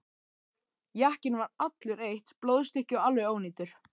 Jakkinn var allur eitt blóðstykki og alveg ónýtur.